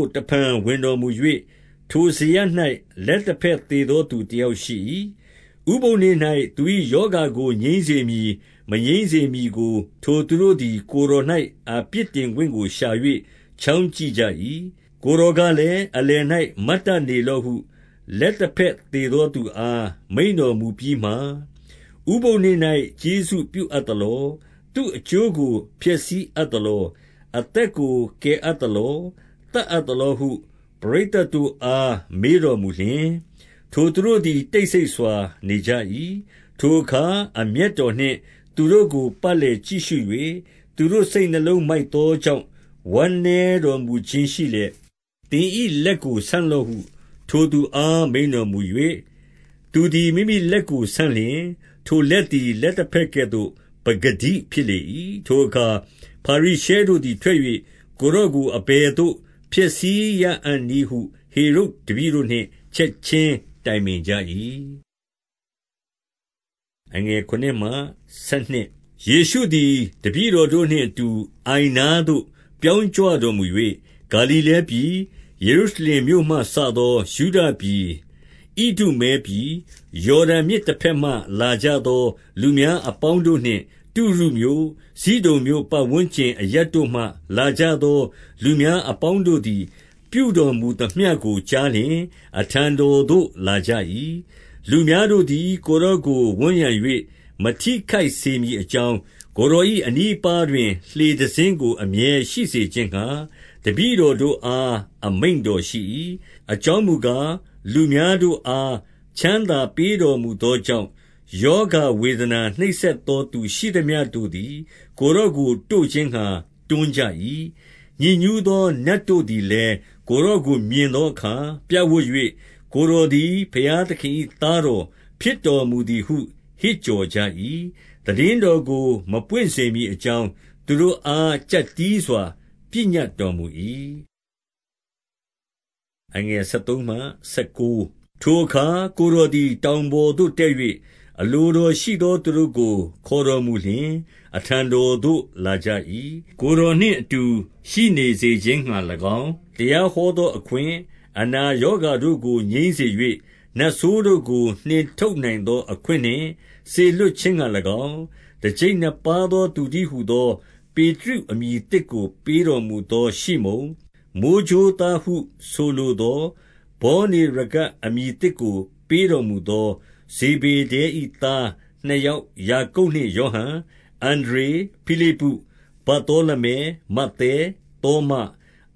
ို့ တဖန်ဝင်တော်မူ၍၊ ထိုစရပ်၌ လက်တဘက်သေသောသူတယောက်ရှိ၏။ 2 ဥပုသ်နေ့၌ သူ၏ရောဂါကိုငြိမ်းစေမည် မငြိမ်းစေမည်ကို ထိုသူတို့သည် ကိုယ်တော်၌ အပြစ်တင်ခွင့်ကို ရှာ၍ ချောင်းကြည့်ကြ၏။ 3 ကိုယ်တော်ကလည်း၊ အလယ်၌ မတ်တတ်နေလော့ဟု လက်တဘက်သေသောသူအား မိန့်တော်မူပြီးမှ၊ 4 ဥပုသ်နေ့၌ ကျေးဇူးပြုအပ်သလော၊ သူ့အကျိုးကိုဖျက်ဆီးအပ်သလော၊ အသက်ကို ကယ်အပ်သလော၊ သတ်အပ်သလောဟု ပရိသတ်တို့အား မေးတော်မူလျှင်၊ ထိုသူတို့သည် တိတ်ဆိတ်စွာနေကြ၏။ 5 ထိုအခါ အမျက်တော်နှင့် သူတို့ကို ပတ်လည်ကြည့်ရှု၍ သူတို့စိတ်နှလုံးမိုက်သောကြောင့် ဝမ်းနည်း တော်မူခြင်းရှိလျက်၊ သင်၏လက်ကိုဆန့်လော့ဟု ထိုသူအား မိန့်တော်မူ၍ သူသည် မိမိလက်ကိုဆန့်လျှင်၊ ထို လက်သည် လက်တဘက်ကဲ့သို့ ပကတိဖြစ်လေ၏။ 6 ထိုအခါ ဖာရိရှဲတို့သည်ထွက်၍ ကိုယ်တော်ကို အဘယ်သို့ဖျက်ဆီးရအံ့နည်းဟု ဟေရုဒ်တပည့်တို့နှင့် ချက်ခြင်းတိုင်ပင်ကြ၏။ 7 ယေရှုသည် တပည့်တော်တို့နှင့်အတူ အိုင်နားသို့ ပြောင်းကြွတော်မူ၍၊ ဂါလိလဲပြည်၊ 8 ယေရုရှလင်မြို့မှစသော ယုဒပြည်၊ ဣဒုမဲပြည်၊ ယော်ဒန်မြစ်တဘက်မှ လာကြသော လူများအပေါင်း တို့နှင့် တုရုမြို့၊ ဇိဒုန်မြို့ ပတ်ဝန်းကျင်အရပ်တို့မှလာကြသော လူများအပေါင်းတို့သည် ပြုတော်မူသမျှကို ကြား လျှင် အထံတော်သို့ လာကြ၏။ 9 လူများတို့သည် ကိုယ်တော်ကိုဝန်းရံ၍ မထိခိုက်စေမည်အကြောင်း၊ ကိုယ်တော်၏အနီးအပါးတွင် လှေ တစင်းကို အမြဲရှိစေခြင်းငှါ တပည့်တော်တို့အား အမိန့်တော်ရှိ၏။ 10 အကြောင်းမူကား၊ လူများတို့အား ချမ်းသာပေးတော်မူသောကြောင့်၊ ရောဂါဝေဒနာ နှိပ်စက်သောသူ ရှိသမျှတို့သည် ကိုယ်တော်ကို တို့ခြင်းငှါ တွန်းကြ၏။ 11 ညစ်ညူးသောနတ်တို့သည်လည်း ကိုယ်တော်ကိုမြင်သောအခါ ပြပ်ဝပ်၍၊ ကိုယ်တော်သည် ဘုရား သခင်၏သားတော်ဖြစ်တော်မူသည်ဟု ဟစ်ကြော်ကြ၏။ 12 သိတင်းတော်ကို မပွင့်စေမည်အကြောင်း သူတို့အား ကြပ်တည်းစွာ ပညတ်တော်မူ၏။ 13 ထိုအခါ ကိုယ်တော်သည် တောင်ပေါ်သို့တက်၍ အလိုတော်ရှိသောသူတို့ကို ခေါ်တော်မူလျှင်၊ အထံ တော်သို့ လာကြ၏။ 14 ကိုယ်တော်နှင့်အတူ ရှိနေစေခြင်းငှါ၎င်း၊ တရားဟောသောအခွင့်၊ အနာရောဂါတို့ကို ငြိမ်းစေ၍၊ 15 နတ်ဆိုးတို့ကို နှင်ထုတ်နိုင်သောအခွင့်နှင့် စေလွှတ်ခြင်းငှါ၎င်း၊ တကျိပ်နှစ်ပါးသောသူတည်းဟူသော၊ 16 ပေတရုအမည်သစ်ကို ပေးတော်မူသောရှိမုန်၊ 17 မိုဃ်းကြိုးသားဟု ဆိုလိုသော ဗောနေရဂက် အမည်သစ်ကို ပေးတော်မူသော ဇေဗေဒဲ၏သားနှစ် ယောက်ယာကုပ်နှင့် ယောဟန်၊ 18 အန္ဒြေ၊ ဖိလိပ္ပု၊ ဗာသောလမဲ၊ မဿဲ၊ သောမ၊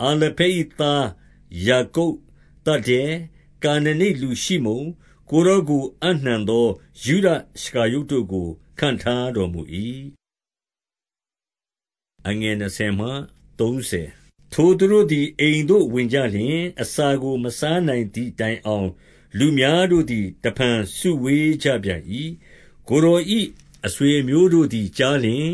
အာလဖဲ၏သားယာကုပ်၊ သဒ္ဒဲ၊ ကာနနိတ်လူရှိမုန်၊ 19 ကိုယ်တော်ကို အပ်နှံသော ယုဒရှကာရုတ်တို့ကို ခန့်ထားတော်မူ၏။ 20 ထိုသူတို့သည် အိမ်သို့ဝင်ကြလျှင်၊ အစာကို မစားနိုင်သည့်တိုင်အောင် လူများတို့သည် တဖန်စုဝေး ကြပြန်၏။ 21 ကိုယ်တော်၏ အဆွေအမျိုးတို့သည်ကြားလျှင်၊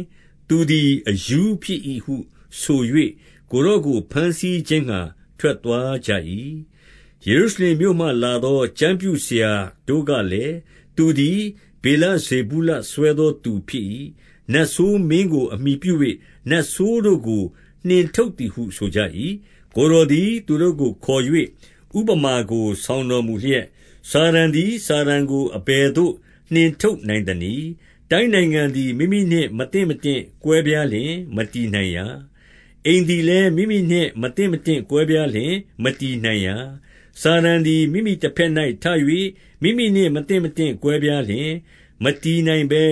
သူသည် အရူးဖြစ်၏ဟုဆို၍ ကိုယ်တော်ကို ဘမ်းဆီး ခြင်းငှါ ထွက်သွားကြ၏။ 22 ယေရုရှလင်မြို့မှလာသော ကျမ်းပြုဆရာတို့ကလည်း၊ သူသည် ဗေလဇေဗုလ စွဲသောသူဖြစ်၏။ နတ်ဆိုးမင်းကို အမှီပြု၍ နတ်ဆိုးတို့ကို နှင်ထုတ်သည်ဟု ဆိုကြ၏။ 23 ကိုယ်တော်သည် သူတို့ကိုခေါ်၍ ဥပမာကို ဆောင်တော်မူလျက်၊ စာတန်သည် စာတန်ကို အဘယ်သို့ နှင်ထုတ်နိုင်သနည်း။ 24 တိုင်းနိုင်ငံသည် မိမိနှင့်မသင့်မတင့် ကွဲပြားလျှင် မတည်နိုင်ရာ။ 25 အိမ်သည်လည်း မိမိနှင့်မသင့်မတင့် ကွဲပြားလျှင် မတည်နိုင်ရာ။ 26 စာတန်သည် မိမိတဘက်၌ ထ၍ မိမိနှင့် မသင့်မတင့်ကွဲပြားလျှင် မတည်နိုင်ဘဲ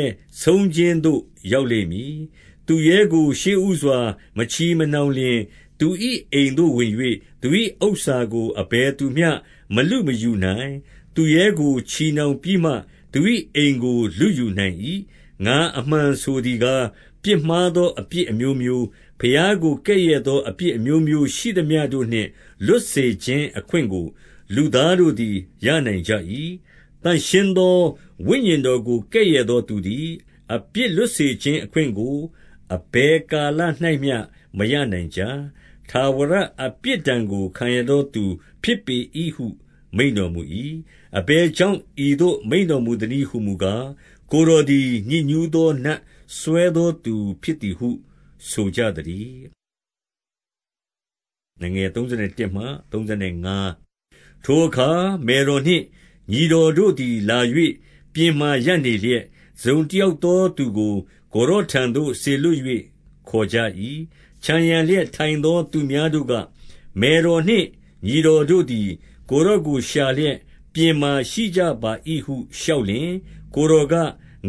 ဆုံးခြင်းသို့ ရောက် လိမ့်မည်။ 27 သူရဲကို ရှေ့ဦးစွာ မချည်မနှောင်လျှင်၊ သူ၏ အိမ်သို့ဝင်၍ သူ၏ဥစ္စာကို အဘယ်သူများ မလုမယူနိုင်။ သူရဲကို ချည်နှောင်ပြီးမှ သူ၏အိမ်ကို လုယူနိုင်၏။ 28 ငါအမှန်ဆိုသည်ကား၊ ပြစ်မှားသောအပြစ် အမျိုးမျိုး၊ ဘုရားကို ကဲ့ရဲ့သောအပြစ်အမျိုးမျိုးရှိသမျှ တို့နှင့် လွတ်စေခြင်းအခွင့်ကို လူသားတို့သည် ရနိုင်ကြ၏။ 29 သန့်ရှင်းသောဝိညာဉ်တော်ကို ကဲ့ရဲ့သောသူသည် အပြစ်လွတ်စေခြင်းအခွင့်ကို အဘယ်ကာလ၌မျှ မရ နိုင်ကြ။ ထာဝရအပြစ်ဒဏ်ကို ခံရသောသူဖြစ်ပေ၏ဟု မိန့်တော်မူ၏။ 30 အဘယ်ကြောင့် ဤသို့ မိန့်တော်မူသနည်းဟူမူကား၊ ကိုယ်တော်သည် ညစ်ညူးသော နတ်စွဲသောသူ ဖြစ်သည်ဟု ဆိုကြသတည်း။ 31 ထိုအခါ မယ်တော်နှင့်ညီတော်တို့သည်လာ၍ ပြင်မှာရပ်နေလျက်၊ တစုံတယောက်သောသူကို ကိုယ် တော်ထံသို့ စေလွှတ်၍ ခေါ်ကြ၏။ 32 ခြံရံလျက်ထိုင်သောသူများတို့က၊ မယ်တော်နှင့် ညီတော်တို့သည် ကိုယ်တော်ကိုရှာလျက် ပြင်မှာရှိကြပါ ၏ ဟုလျှောက်လျှင်၊ 33 ကိုယ်တော်က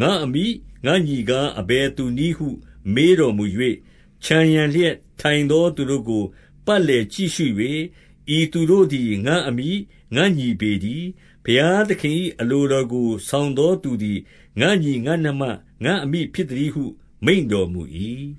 ၊ ငါ့အမိ၊ ငါ့ညီကား အဘယ်သူနည်းဟု မေးတော်မူ၍၊ 34 ခြံရံလျက်ထိုင်သောသူတို့ကို ပတ်လည်ကြည့်ရှု၍၊ ဤသူတို့သည် ငါ့အမိ၊ ငါ့ညီပေတည်း။ 35 ဘုရားသခင်၏အလိုတော်ကို ဆောင်သောသူသည် ငါ့ညီ၊ ငါ့နှမ၊ ငါ့အမိဖြစ်သတည်းဟု မိန့်တော်မူ၏။